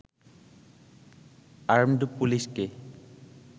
armed পুলিশকে